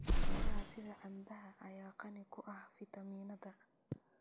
Miraha sida cambaha ayaa qani ku ah fiitamiinnada.